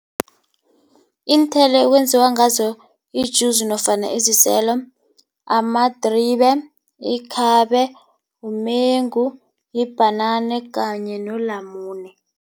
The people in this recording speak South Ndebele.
Iinthelo ekwenziwa ngazo ijuzi nofana iziselo amadribe, yikhabe, umengu, yibhanana kanye nolamune.